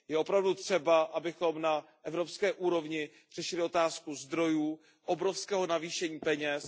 Je opravdu třeba, abychom na evropské úrovni řešili otázku zdrojů, obrovského navýšení peněz.